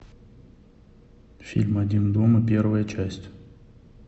фильм один дома первая часть